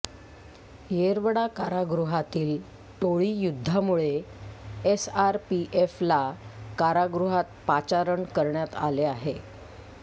येरवडा कारागृहातील टोळी युद्धामुळे एसआरपीएफला कारागृहात पाचारण करण्यात आले आहे